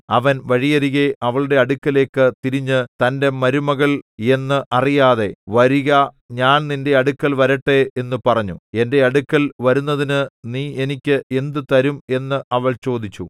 അവൻ വഴിയരികെ അവളുടെ അടുക്കലേക്ക് തിരിഞ്ഞു തന്റെ മരുമകൾ എന്നു അറിയാതെ വരിക ഞാൻ നിന്റെ അടുക്കൽ വരട്ടെ എന്നു പറഞ്ഞു എന്റെ അടുക്കൽ വരുന്നതിനു നീ എനിക്ക് എന്ത് തരും എന്ന് അവൾ ചോദിച്ചു